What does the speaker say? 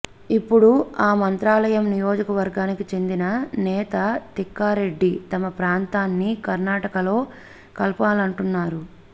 ఇప్పుడు ఆ మంత్రాలయం నియోజకవర్గానికి చెందిన నేత తిక్కారెడ్డి తమ ప్రాంతాన్ని కర్ణాటకలో కలపాలంటున్నారు